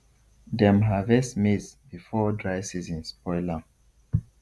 dem harvest maize before dry season spoil am